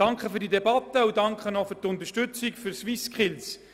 Danke für diese Debatte und danke für Ihre Unterstützung der SwissSkills.